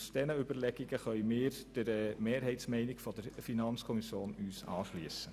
Aus diesen Überlegungen können wir uns der Mehrheitsmeinung der FiKo anschliessen.